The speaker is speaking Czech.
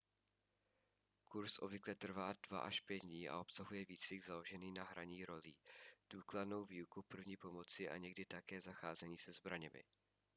kurz obvykle trvá 2-5 dní a obsahuje výcvik založený na hraní rolí důkladnou výuku první pomoci a někdy také zacházení se zbraněmi